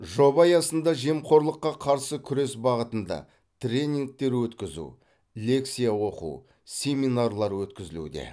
жоба аясында жемқорлыққа қарсы күрес бағытында тренингтер өткізу лекция оқу семинарлар өткізілуде